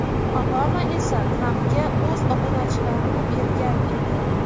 Obama esa Trampga o‘z obunachilarini bergan edi.